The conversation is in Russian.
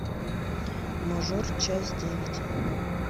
мажор часть девять